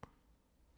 DR2